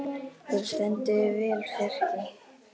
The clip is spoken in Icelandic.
Þú stendur þig vel, Fjarki!